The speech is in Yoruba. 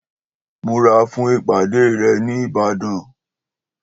Múra fún ìpàdé rẹ ni Ìbàdàn!